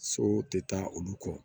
So tɛ taa olu kɔ